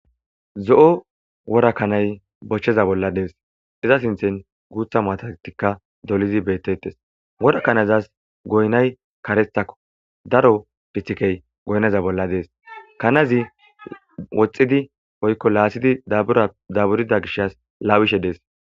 zo7o wora kanay bochcheza bolla dees iza sinthen guutha matatikka dolizi beettetes wora kanazas goynay karethakko daro dhithikey goyneza bolla dees kanazi woxxidi oykko laasidi daburida gishas laawishe dees